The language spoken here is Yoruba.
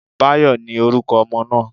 Báyò, ni oruko ọmọ naa